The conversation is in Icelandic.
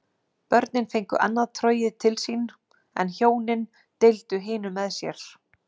Börnin fengu annað trogið til sín en hjónin deildu hinu með sér.